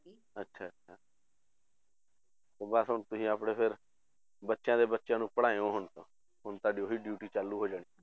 ਅੱਛਾ ਅੱਛਾ ਬਸ ਹੁਣ ਤੁਸੀਂ ਆਪਣੇ ਫਿਰ ਬੱਚਿਆਂ ਦੇ ਬੱਚਿਆਂ ਨੂੰ ਪੜ੍ਹਾਇਓ ਹੁਣ ਤਾਂ, ਹੁਣ ਤੁਹਾਡੀ ਉਹੀ duty ਚਾਲੂ ਹੋ ਜਾਣੀ।